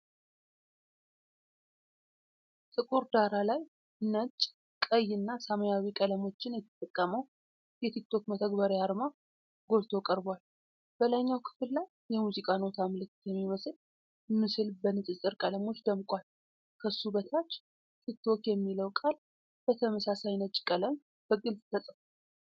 ጥቁር ዳራ ላይ ነጭ፣ ቀይና ሰማያዊ ቀለሞችን የተጠቀመው የቲክ ቶክ መተግበሪያ አርማ ጎልቶ ቀርቧል። በላይኛው ክፍል ላይ የሙዚቃ ኖታ ምልክት የሚመስል ምስል በንፅፅር ቀለሞች ደምቋል። ከሱ በታች "ቲክቶክ" የሚለው ቃል በተመሳሳይ ነጭ ቀለም በግልጽ ተጽፏል።